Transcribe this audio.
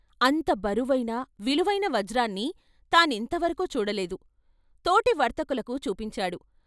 అంత బరువైన, విలువైన వజ్రాన్ని తాను ఇంత వరకు చూడలేదు తోటి వర్తకులకు చూపించాడు.